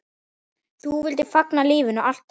Þú vildir fagna lífinu, alltaf.